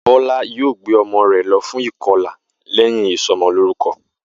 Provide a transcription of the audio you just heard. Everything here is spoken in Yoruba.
Bó̩lá yóò gbé o̩mo̩ rè̩ lo̩ fún ìko̩là lé̩yìn ìso̩mo̩lórúko̩